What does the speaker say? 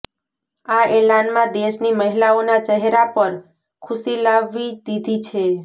આ એલાનમાં દેશની મહિલાઓના ચેહરા પર ખુશી લાવી દીધી છે